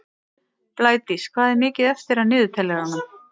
Blædís, hvað er mikið eftir af niðurteljaranum?